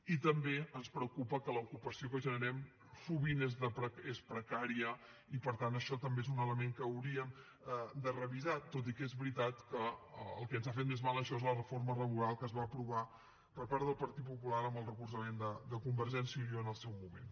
i també ens preocupa que l’ocupació que generem sovint és precària i per tant això també és un element que hauríem de revisar tot i que és veritat que el que ens ha fet més mal en això és la reforma laboral que es va aprovar per part del partit popular amb el recolzament de convergència i unió en el seu moment